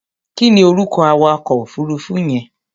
Kí ni orúkọ awakọ̀ òfuruufú yẹn?